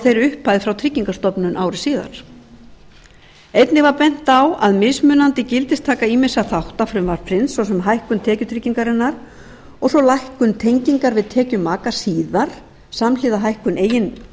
þeirri upphæð frá tryggingastofnun ári síðar einnig var bent á að mismunandi gildistaka ýmissa þátta frumvarpsins svo sem hækkun tekjutryggingarinnar og svo lækkun tengingar við tekjur maka síðar samhliða hækkun eigin